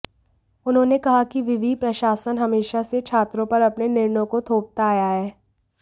उन्होंने कहा कि विवि प्रशासन हमेशा से छात्रों पर अपने निर्णयों को थोपता आया है